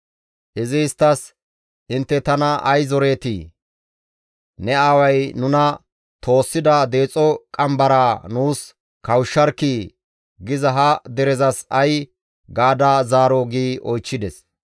Izi isttas, «Intte tana ay zoreetii? ‹Ne aaway nuna toossida deexo qambaraa nuus kawushsharkkii› giza ha derezas ay gaada zaaroo?» gi oychchides.